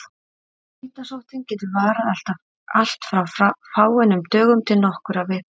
Hitasóttin getur varað allt frá fáeinum dögum til nokkurra vikna.